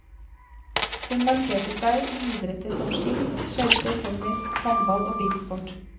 Hun markerte seg i idretter som ski, skøyter, tennis, håndball og bilsport.